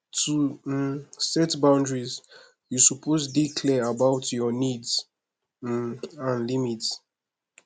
to um set boundaries yu suppose dey clear about yur nids um and limits